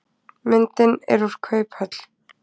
Myndin er úr kauphöll.